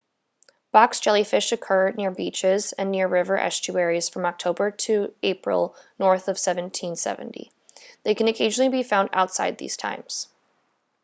box jellyfish occur near beaches and near river estuaries from october to april north of 1770 they can occasionally be found outside these times